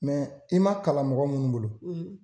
i ma kalan mɔgɔ munnu bolo